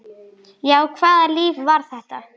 Já, hvaða líf var þetta?